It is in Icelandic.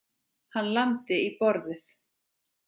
Hann lamdi í borðið.